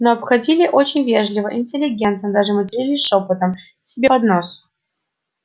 но обходили очень вежливо интеллигентно даже матерились шёпотом себе под нос